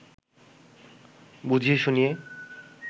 বুঝিয়ে শুনিয়ে